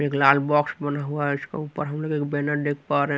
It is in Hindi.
एक लाल बॉक्स बना हुआ है इसका ऊपर हम लोग एक बैनर देख पा रहे--